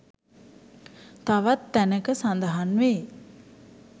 තවත් තැනක සඳහන් වෙයි.